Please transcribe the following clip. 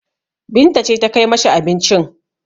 Binta ce ta kai ma shi abincin.